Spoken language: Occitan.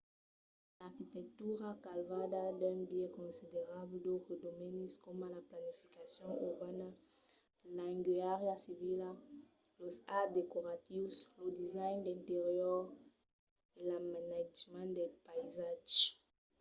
l’arquitectura cavalca d'un biais considerable d’autres domenis coma la planificacion urbana l’engenhariá civila los arts decoratius lo design d’interior e l’amainatjament del païsatge